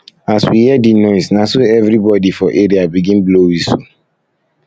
as we hear di noise na so everybodi for area begin blow wistle